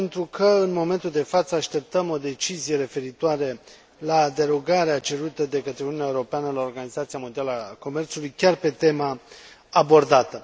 Pentru că în momentul de față așteptăm o decizie referitoare la derogarea cerută de către Uniunea Europeană la Organizația Mondială a Comerțului chiar pe tema abordată.